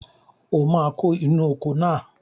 O máa kó inú oko náà